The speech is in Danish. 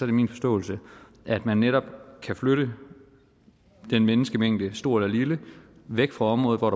det min forståelse at man netop kan flytte den menneskemængde stor eller lille væk fra området hvor